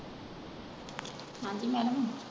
ਹਾਂਜੀ madam